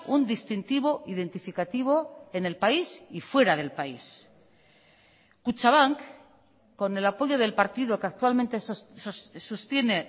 un distintivo identificativo en el país y fuera del país kutxabank con el apoyo del partido que actualmente sostiene